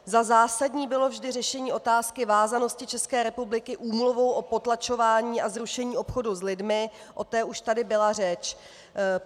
Za zásadní bylo vždy řešení otázky vázanosti České republiky úmluvou o potlačování a zrušení obchodu s lidmi, o tom už tady byla řeč.